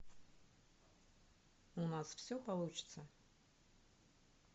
у нас все получится